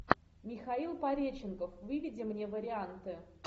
михаил пореченков выведи мне варианты